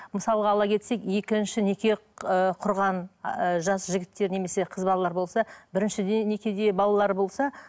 мысалға ала кетсек екінші неке ыыы құрған ы жас жігіттер немесе қыз балалар болса біріншіден некеде балалары болса